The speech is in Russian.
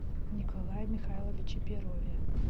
николае михайловиче перове